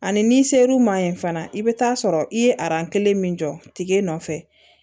Ani n'i ser'u ma ye fana i bɛ taa sɔrɔ i ye kelen min jɔ tige nɔfɛ